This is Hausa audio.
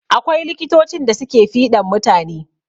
Akwai likitocin da suke fiɗan mutane.